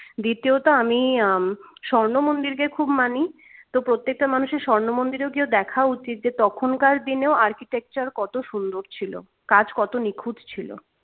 দ্বিতীয়ত আমি উম স্বর্ণমন্দিরকে খুব মানি তো প্রত্যেকটা মানুষের স্বর্ণমন্দিরে গিয়েও দেখা উচিত যে তখনকার দিনে architecture কত সুন্দর ছিল কাজ কত নিখুঁত ছিল